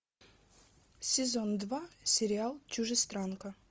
сезон два сериал чужестранка